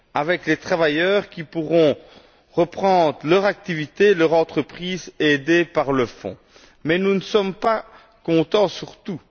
avec les travailleurs qui pourront reprendre leur activité, leur entreprise, aidés par le Fonds. Mais nous ne sommes pas contents sur tout.